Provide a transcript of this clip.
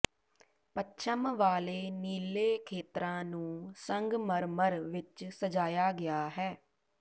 ਪੱਛਮ ਵਾਲੇ ਨੀਲੇ ਖੇਤਰਾਂ ਨੂੰ ਸੰਗਮਰਮਰ ਵਿੱਚ ਸਜਾਇਆ ਗਿਆ ਹੈ